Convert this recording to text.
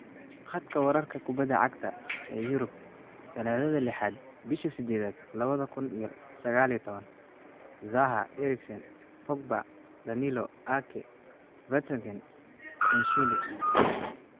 Khadka wararka kubbada cagta ee Yurub Talaadada lixaad bisha sideedad lawadha kun iyo saqal iyo tawan: Zaha, Eriksen, Pogba, Danilo, Ake, Vertonghen, Koscielny